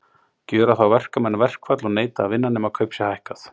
Gjöra þá verkamenn verkfall og neita að vinna, nema kaup sé hækkað.